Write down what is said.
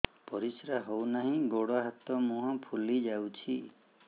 ପରିସ୍ରା ହଉ ନାହିଁ ଗୋଡ଼ ହାତ ମୁହଁ ଫୁଲି ଯାଉଛି